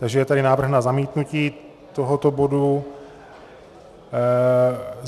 Takže je tady návrh na zamítnutí tohoto bodu.